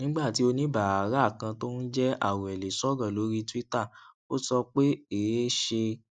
nígbà tí oníbàárà kan tó ń jẹ awele sọrọ lórí twitter ó sọ pé èé ṣe